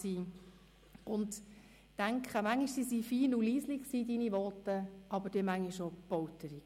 Manchmal waren seine Voten fein und leise, manchmal aber auch polternd und laut.